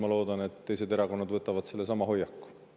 Ma loodan, et teised erakonnad võtavad sellesama hoiaku.